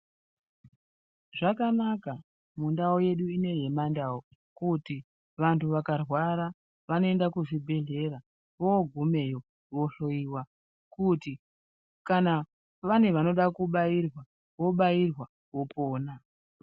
Zvakanaka mundau yedu ineyi yemandau kuti vantu vakarwara vanoenda kuzvibhedhlera vogumeyo vohloyiwa kuti kana vane vanoda kubairwa vobairwa vopona.